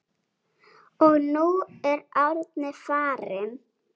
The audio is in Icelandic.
Og nú er Árni farinn.